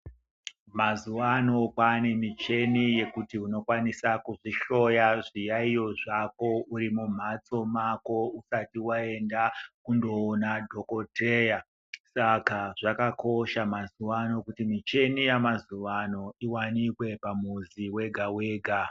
Mazuvano kwane micheni yekuti unokwanisa kuzvihloya zviyayiyo zvako urimumhatso mako usati waenda kunoona dhokodheya saka zvakakosha mazuvano kuti micheni yamazuvano iwanikwe pamuzi wega wega .